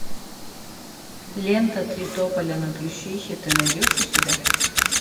лента три тополя на плющихе ты найдешь у себя